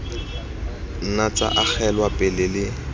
nna tsa agelwa pele le